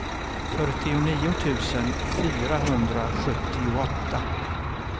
fyrtionio tusen fyrahundrasjuttioåtta